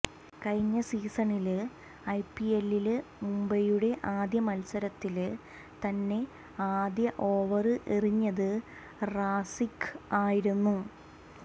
കഴിഞ്ഞ സീസണില് ഐപിഎല്ലില് മുംബൈയുടെ ആദ്യ മത്സരത്തില് തന്നെ ആദ്യ ഓവര് എറിഞ്ഞത് റാസിഖ് ആയിരുന്നു